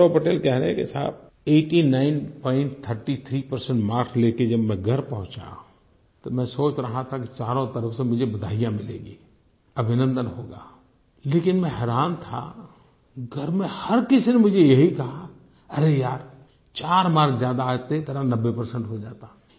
गौरव पटेल कह रहे हैं कि साहब 8933 परसेंट मार्क्स लेकर जब मैं घर पहुँचा तो मैं सोच रहा था कि चारों तरफ़ से मुझे बधाइयाँ मिलेंगी अभिनन्दन होगा लेकिन मैं हैरान था घर में हर किसी ने मुझे यही कहा अरे यार चार मार्क्स ज्यादा आते तेरा 90 परसेंट हो जाता